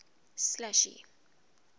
slashy